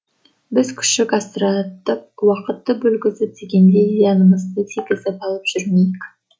біз күшік асыратып уақытты бөлгізіп дегендей зиянымызды тигізіп алып жүрмейік